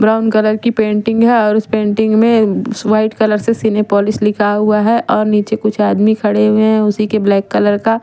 brown colour की painting है और उस पेंटिंग में व्हाईट कलर से सिनेपोलिश लिखा हुआ है और निचे कुछ आदमी खड़े हुए हैं उसी के ब्लैक कलर का--